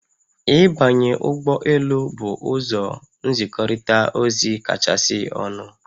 Ịbanye ụgbọ elu bụ ụzọ nzikọrịta ozi kachasị ọnụ